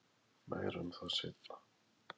Meira um það seinna.